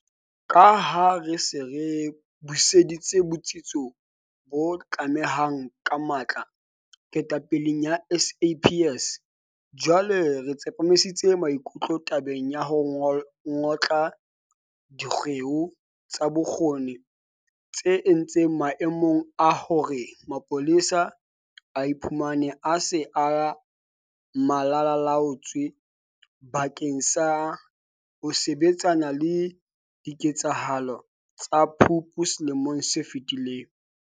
Ka ha re se re buseditse botsitso bo batlehang ka matla ketapeleng ya SAPS, jwale re tsepamisitse maikutlo tabeng ya ho ngotla dikgeo tsa bokgoni tse entseng maemong a hore mapolesa a iphumane a se Malala-a-laotswe bakeng sa ho sebetsana le diketsahalo tsa Phupu selemong se fetileng.